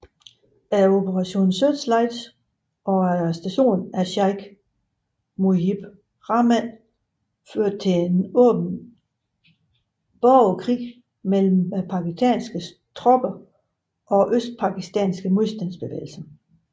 Operation Searchlight og arrestationen af Sheik Mujib Rahman førte til åben borgerkrig mellem Pakistanske tropper og Østpakistanske modstandsbevægelse